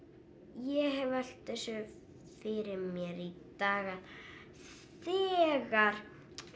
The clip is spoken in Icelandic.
ég hef velt þessu fyrir mér í dag að þegar